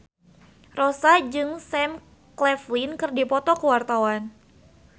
Rossa jeung Sam Claflin keur dipoto ku wartawan